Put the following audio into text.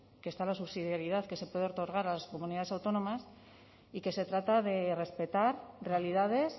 que está la subsidiaridad que se puede otorgar a las comunidades autónomas y que se trata de respetar realidades